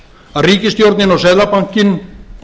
að ríkisstjórnin og seðlabankinn